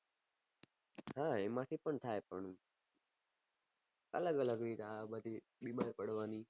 હા એમાં થી પન થાય પણું અલગ અલગ રીતો બીમાર પડવાની